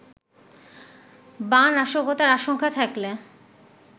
বা নাশকতার আশঙ্কা থাকলে